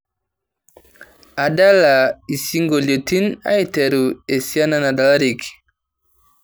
adala isingolioitin aiteru esiana nadalareki